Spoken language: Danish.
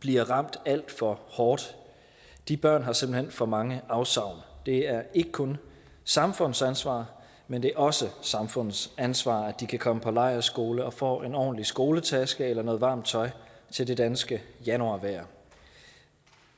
bliver ramt alt for hårdt de børn har simpelt hen for mange afsavn det er ikke kun samfundets ansvar men det er også samfundets ansvar at de kan komme på lejrskole og få en ordentlig skoletaske eller noget varmt tøj til det danske januarvejr